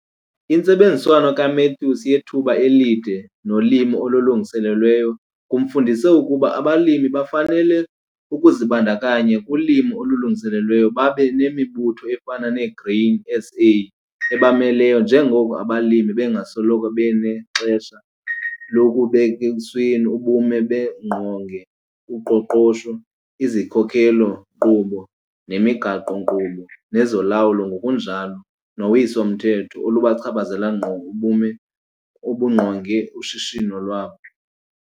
Intsebenziswano kaMathews yethuba elide nolimo olulungiselelweyo kumfundise ukuba abalimi bafanele ukuzibandakanya kulimo olulungiselelweyo babe nemibutho efana neGrain SA ebamelayo njengoko abalimi bengasoloko benexesha lokububek' esweni ubume bengqonge uqoqosho, izikhokelo-nkqubo zemigaqo-nkqubo nezolawulo ngokunjalo nowiso-mthetho olubuchaphazela ngqo ubume obungqonge ushishino lwabo.